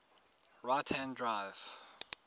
right hand drive